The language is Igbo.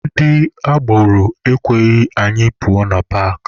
Ndị agboro ekweghị anyị pụọ na paakị.